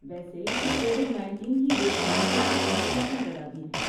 ویسے، یہ COVID nineteen کی روک تھام کے لیے احتیاطی تدابیر ہیں